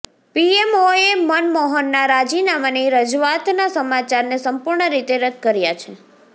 પીએમઓએ મનમોહનના રાજીનામાની રજૂઆતના સમાચારને સંપૂર્ણ રીતે રદ્દ કર્યા છે